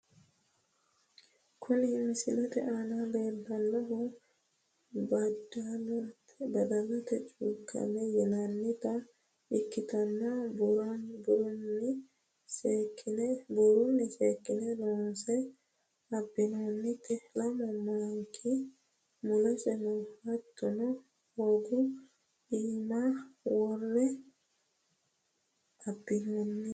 kuni misilete aana leellannohu badalate chukkamme yinannita ikkitanna buurunni seekkine loonse abbinoonnite lamu maanki mulese no hattono, hogu iima worre abbinoonte.